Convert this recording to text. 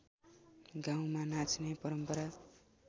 गाउँमा नाच्ने परम्परा